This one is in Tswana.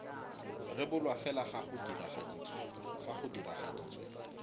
rebolwa fela fa go diragaditswe